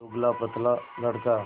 दुबलापतला लड़का